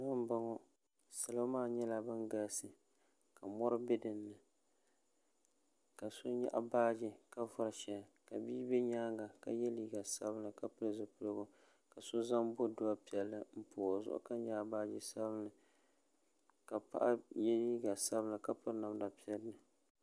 Salo m boŋɔ salo maa nyɛla ban galisi ka ka mori be dinni ka so nyaɣi baaji ka vori sheli ka bia be nyaanga ka ye liiga sabinli ka pili zipiligu ka so zaŋ bodua piɛlli m pobi o zuɣu ka nyaɣi baaji sabinli ka paɣa ye liiga sabinli ka piri namda piɛlli.